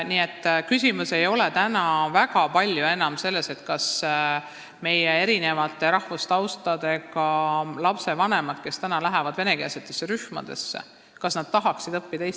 Nii et küsimus ei ole täna väga enam selles, kas erineva rahvustaustaga lapsevanemad, kelle lapsed lähevad venekeelsesse rühma, tahaksid, et nende lapsed õpiksid eesti keelt.